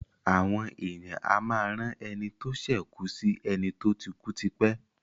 Àwon èèyàn a máá rán eni tó sè kùù sì eni tó ti kúú tipé.